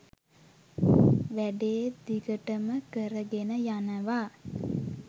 වැඩේ දිගටම කරගෙන යනවා